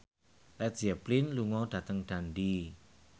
Led Zeppelin lunga dhateng Dundee